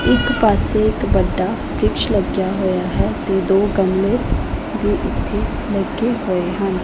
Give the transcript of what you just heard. ਇੱਕ ਪਾੱਸੇ ਇੱਕ ਵੱਡਾ ਵਰਿਕਸ਼ ਲੱਗਿਆ ਹੋਇਆ ਹੈ ਤੇ ਦੋ ਗਮਲੇ ਵੀ ਇੱਥੇ ਲੱਗੇ ਹੋਏ ਹਨ।